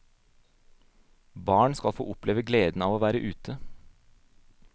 Barna skal få oppleve gleden av å være ute.